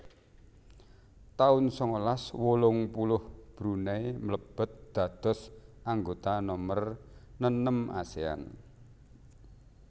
taun sangalas wolung puluh Brunei mlebet dados anggota nomer nenem Asean